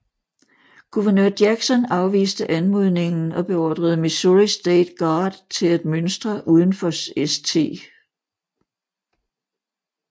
Guvernør Jackson afviste anmodningen og beordrede Missouri State Guard til at mønstre udenfor St